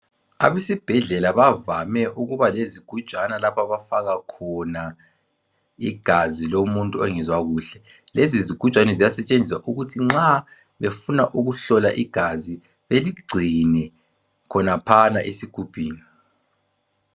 Abesibhedlela bavame ukuba lezigujana lapha abafaka khona igazi lomuntu ongezwa kuhle. Lezi zigujana ziyasetshenziswa ukuthi nxa befuna ukuhlola igazi beligcine khonaphana esigubhini.